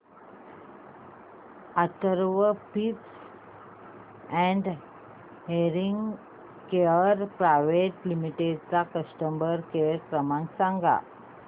Atharva speech and hearing care private limited चा customer care क्रमांक सांगा